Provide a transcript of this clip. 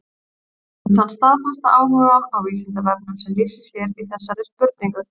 Við þökkum þann staðfasta áhuga á Vísindavefnum sem lýsir sér í þessari spurningu.